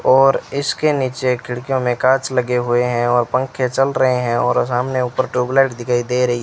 और इसके नीचे खिड़कियों में कांच लगे हुए हैं और पंखे चल रहे हैं और सामने ऊपर ट्यूबलाइट दिखाई दे रही --